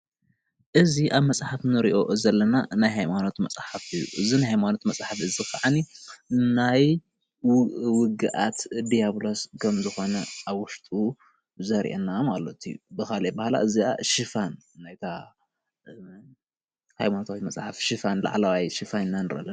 እዚ ኣብ መፅሓፍ እንሪኦ ዘለና ናይ ሃይማኖት መፅሓፍ እዩ፣ እዚ ናይ ሃይማኖት መፅሓፍ ክዓነይአ ናይ ውግኣት ዲያብሎስ ከምዝኮነ ኣብ ውሽጡ ዘርእየና ማለት እዩ፣ ብካሊእ ኣበሃህላ ናይታ ሃይማኖታዊ መፅሓፍ ላዕለዋይ ሽፋን ኢና ንርኢ ዘለና፡፡